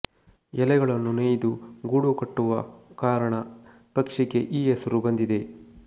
ಎಲೆಗಳನ್ನು ನೇಯ್ದು ಗೂಡು ಕಟ್ಟುವ ಕಾರಣ ಪಕ್ಷಿಗೆ ಈ ಹೆಸರು ಬಂದಿದೆ